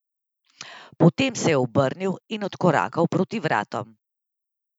Potem se je obrnil in odkorakal proti vratom.